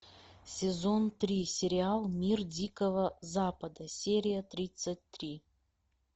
сезон три сериал мир дикого запада серия тридцать три